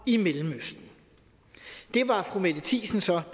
i mellemøsten det var fru mette thiesen så